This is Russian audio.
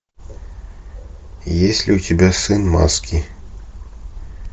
есть ли у тебя сын маски